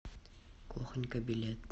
кухонька билет